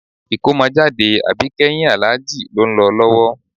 Ìkómọjáde àbíkẹ́yìn Àlájì ló ń lọ lọ́wọ́